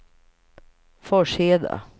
Forsheda